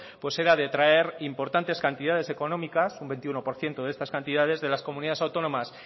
pues era detraer importantes cantidades económicas un veintiuno por ciento de estas cantidades de las comunidades autónomas